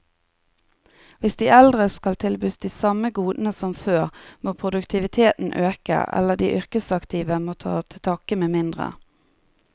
Hvis de eldre skal tilbys de samme godene som før, må produktiviteten øke, eller de yrkesaktive må ta til takke med mindre.